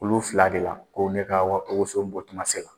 Olu fila de la ko ne ka woson bɔ kuma sela